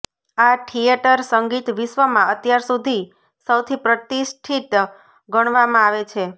આ થિયેટર સંગીત વિશ્વમાં અત્યાર સુધી સૌથી પ્રતિષ્ઠિત ગણવામાં આવે છે